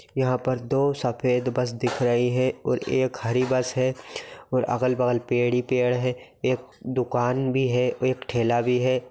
यहां पर दो सफेद बस दिख रही है और एक हरी बस है और अगल-बगल पेड़ ही पेड़ है एक दुकान भी है एक ठेला भी है।